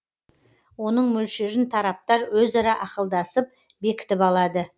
оның мөлшерін тараптар өзара ақылдасып бекітіп алады